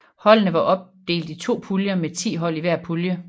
Holdene var opdelt i to puljer med ti hold i hver pulje